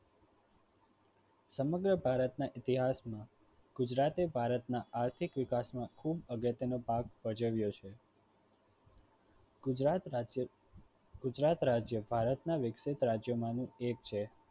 સમગ્ર ભારતના ઇતિહાસમાં ગુજરાતે ભારતના આર્થિક વિકાસમાં ખૂબ અગત્યનો ભાગ ભજવ્યો છે. ગુજરાત રાજ્ય ગુજરાત રાજ્ય ભારત ના વિકસિત રાજ્યોમાંનું એક છે